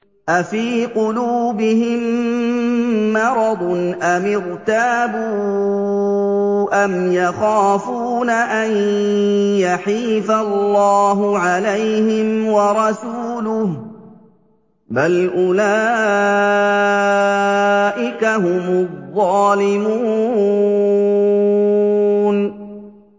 أَفِي قُلُوبِهِم مَّرَضٌ أَمِ ارْتَابُوا أَمْ يَخَافُونَ أَن يَحِيفَ اللَّهُ عَلَيْهِمْ وَرَسُولُهُ ۚ بَلْ أُولَٰئِكَ هُمُ الظَّالِمُونَ